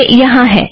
यह यहाँ है